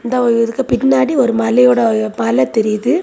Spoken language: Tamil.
இந்த இதுக்கு பின்னாடி ஒரு மலையோட மலை தெரியுது.